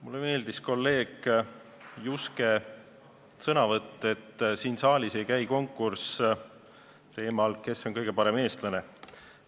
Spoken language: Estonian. Mulle meeldis kolleeg Juske sõnavõtt, et siin saalis ei käi konkurss teemal, kes on kõige parem eestlane.